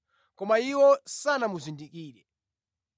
koma iwo sanamuzindikire.